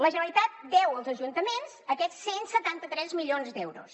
la generalitat deu als ajuntaments aquests cent i setanta tres milions d’euros